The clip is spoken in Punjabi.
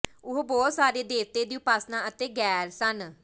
ਉਹ ਬਹੁਤ ਸਾਰੇ ਦੇਵਤੇ ਦੀ ਉਪਾਸਨਾ ਅਤੇ ਗ਼ੈਰ ਸਨ